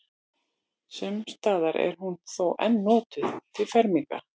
Sums staðar er hún þó enn notuð til ferminga.